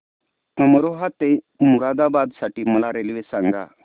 अमरोहा ते मुरादाबाद साठी मला रेल्वे सांगा